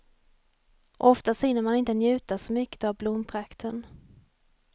Oftast hinner man inte njuta så mycket av blomprakten.